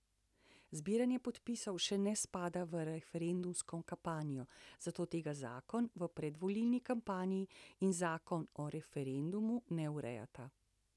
Zbiranje podpisov še ne spada v referendumsko kampanjo, zato tega zakon o predvolilni kampanji in zakon o referendumu ne urejata.